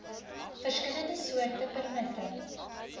verskillende soorte permitte